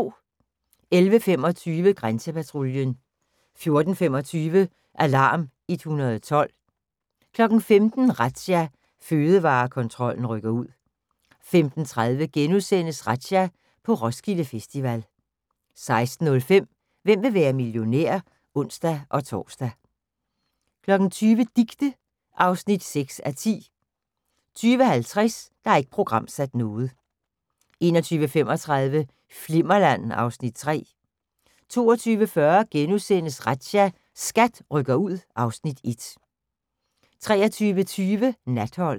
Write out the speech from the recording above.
11:25: Grænsepatruljen 14:25: Alarm 112 15:00: Razzia – Fødevarekontrollen rykker ud 15:30: Razzia – på Roskilde Festival * 16:05: Hvem vil være millionær? (ons-tor) 20:00: Dicte (6:10) 20:50: Ikke programsat 21:35: Flimmerland (Afs. 3) 22:40: Razzia – SKAT rykker ud (Afs. 1)* 23:20: Natholdet